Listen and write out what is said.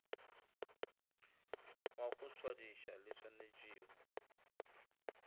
wa go tswadiša di swanetšwego